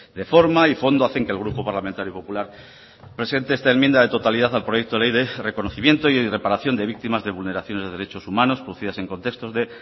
de forma y de fondo hacen que el grupo parlamentario popular presente enmienda de totalidad al proyecto ley de reconocimiento y reparación de víctimas de vulneraciones de derechos humanos producidas en contextos de